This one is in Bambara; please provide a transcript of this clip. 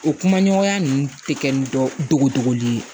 O kuma ɲɔgɔnya ninnu tɛ kɛ ni dogo dogoli ye